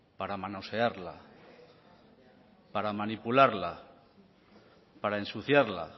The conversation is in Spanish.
para manosearla para manipularla para ensuciarla